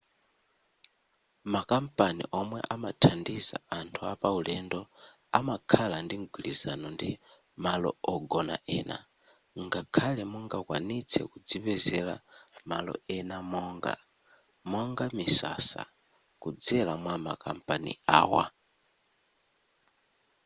makampani omwe amathandiza anthu apaulendo amakhala ndi mgwirizano ndi malo ogona ena ngakhale mungakwanitse kudzipezera malo ena monga monga misasa kudzera mwa makampani awa